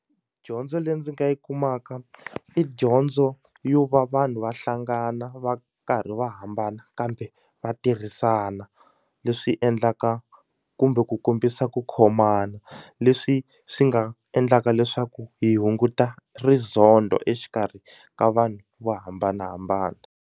Dyondzo leyi ndzi nga yi kumaka i dyondzo yo va vanhu va hlangana va karhi va hambana kambe vatirhisana leswi endlaka kumbe ku kombisa ku khomana leswi swi nga endlaka leswaku hi hunguta rizondo exikarhi ka vanhu vo hambanahambana.